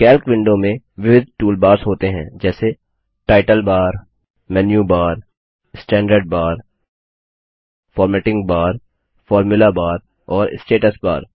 Calc window में विविध toolbars होते हैं जैसे title bar menu bar standard bar formatting bar formula bar और स्टेटस बार